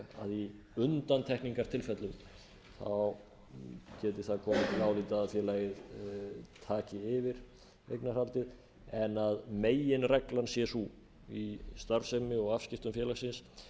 í undantekningartilfellum geti það komið til álita að félagið taki yfir eignarhaldið en að meginreglan sé sú í starfsemi og afskiptum félagsins